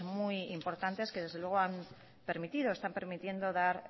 muy importantes que desde luego están permitiendo dar